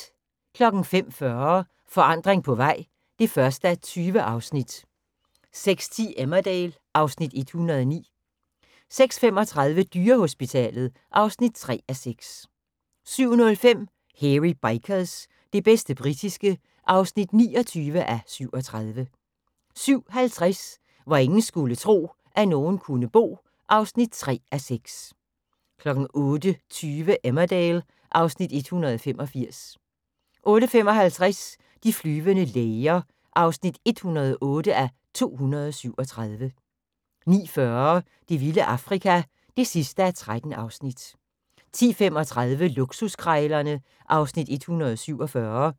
05:40: Forandring på vej (1:20) 06:10: Emmerdale (Afs. 109) 06:35: Dyrehospitalet (3:6) 07:05: Hairy Bikers – det bedste britiske (29:37) 07:50: Hvor ingen skulle tro, at nogen kunne bo (3:6) 08:20: Emmerdale (Afs. 185) 08:55: De flyvende læger (108:237) 09:40: Det vilde Afrika (13:13) 10:35: Luksuskrejlerne (Afs. 147)